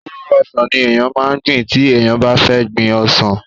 kóró ọsàn ni èèyàn máa gbìn tí èèyàn bá fẹ́ gbin ọsàn